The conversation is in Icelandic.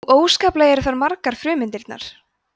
og óskaplega eru þær margar frumeindirnar